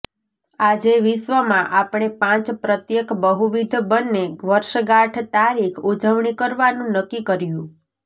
આજે વિશ્વમાં આપણે પાંચ પ્રત્યેક બહુવિધ બંને વર્ષગાંઠ તારીખ ઉજવણી કરવાનું નક્કી કર્યું